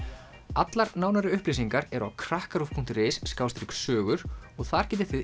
allar nánari upplýsingar eru á krakkaruv punktur is sogur og þar getið þið